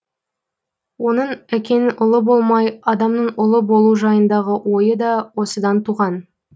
оның әкенің ұлы болмай адамның ұлы болу жайындағы ойы да осыдан туған